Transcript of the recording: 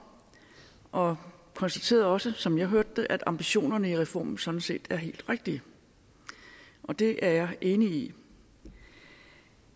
og konstaterede også som jeg hørte det at ambitionerne i reformen sådan set er helt rigtige og det er jeg enig i